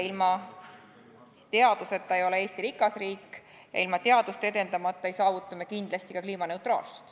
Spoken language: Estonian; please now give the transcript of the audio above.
Ilma teaduseta ei ole Eesti rikas riik ja ilma teadust edendamata ei saavuta me kindlasti ka kliimaneutraalsust.